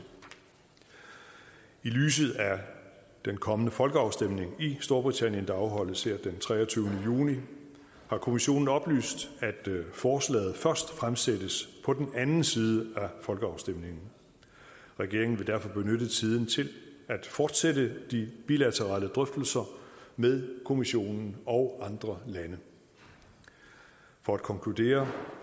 i lyset af den kommende folkeafstemning i storbritannien der afholdes den treogtyvende juni har kommissionen oplyst at forslaget først fremsættes på den anden side af folkeafstemningen regeringen vil derfor benytte tiden til at fortsætte de bilaterale drøftelser med kommissionen og andre lande for at konkludere